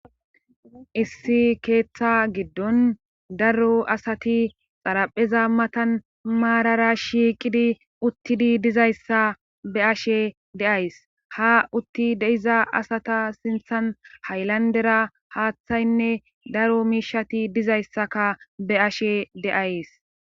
issi keeththa giddon daro asati xarapheza matan maarara shiiqidi uttidi dizayssa be ashe de7ays ha utti deiza asata sinthan haylandera haaththaynne daro miishati dizayssaka be ashe deays